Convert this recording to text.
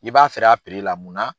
I b'a feer'a la mun na?